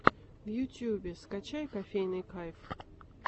в ютьюбе скачай кофейный кайф